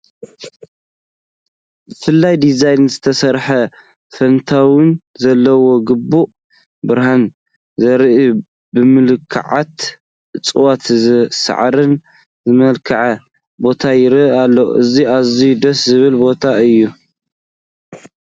ብፍሉይ ዲዛይን ዝተሰርሐ፣ ፋውንተይን ዘለዎ፣ ግቡእ ብርሃን ዝረአዮ፣ ብምልኩዓት እፅዋት ሳዕርን ዝመልክዐ ቦታ ይርአ ኣሎ፡፡ እዚ ኣዝዩ ደስ ዝብል ቦታ እዩ፡፡